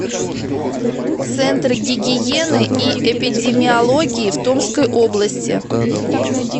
центр гигиены и эпидемиологии в томской области